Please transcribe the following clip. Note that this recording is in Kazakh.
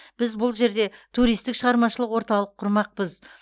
біз бұл жерде туристік шығармашылық орталық құрмақпыз